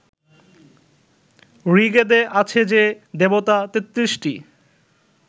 ঋগ্বেদে আছে যে, দেবতা তেত্রিশটি